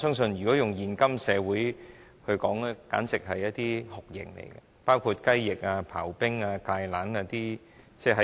在現今社會，這些刑罰簡直可以被稱為酷刑，包括"雞翼"、"刨冰"、"芥蘭"等。